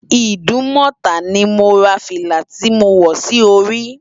Idumota ni mó rá filá ti mó wò si óri